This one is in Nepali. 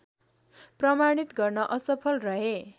प्रमाणित गर्न असफल रहे